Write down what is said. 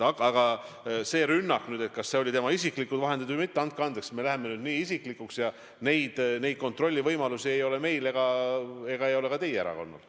Aga see rünnak ja küsimused, kas need oli tema isiklikud vahendid või mitte – andke andeks, me läheme nüüd isiklikuks ja selliseid kontrollivõimalusi ei ole meil ega ka teie erakonnal.